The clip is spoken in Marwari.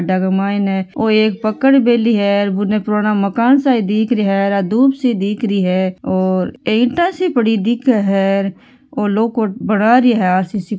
खड़ा के माइन एक पकड़ मेली है उन पुराना मकान सा दिख रही है आ धुप सी दिख रही है और पड़ी दिखे है और लो को बना रही है आरसीसी --